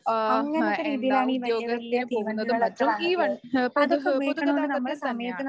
ആഹ് ഹേ എന്താ ഉദ്യോഗസ്ഥര് പോകുന്നതും മറ്റും ഈ വ പൊതു ആഹ് പൊതുഗതാഗതത്തിൽ തന്നെയാണ്.